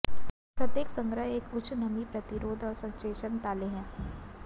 प्रत्येक संग्रह एक उच्च नमी प्रतिरोध और संसेचन ताले है